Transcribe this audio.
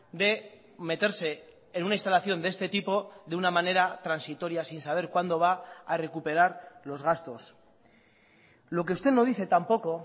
de meterse en una instalación de este tipo de una manera transitoria sin saber cuándo va a recuperar los gastos lo que usted no dice tampoco